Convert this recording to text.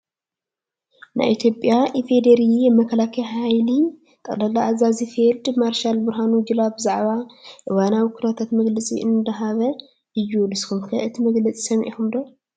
ናይ ኢትዮጵያ ኢፌድሪ መከላከያ ሓይሊ ጠቅላላ ኣዛዚ ፊልድ ማርሻል ብርሃኑ ጁላ ብዛዕባ እዋናዊ ኩነታት መግለፂ እንዳሃበ እዩ። ንስኩም'ከ እቲ መግለፂ ሰሚዕኩሞ ዶ?